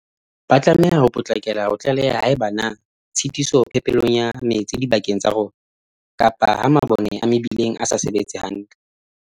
Ba tlameha ho potlakela ho tlaleha haeba ho na le tshitiso phepelong ya metsi dibakeng tsa rona, kapa ha mabone a mebileng a sa sebetse hantle.